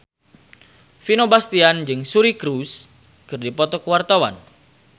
Vino Bastian jeung Suri Cruise keur dipoto ku wartawan